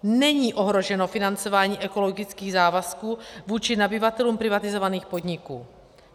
Není ohroženo financování ekologických závazků vůči nabyvatelům privatizovaných podniků.